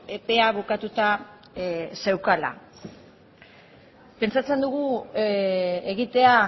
epea bukatuta zeukala pentsatzen dugu egitea